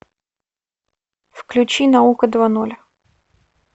включи наука два ноль